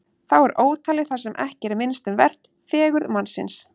Þá er ótalið það sem ekki er minnst um vert: fegurð mannsins.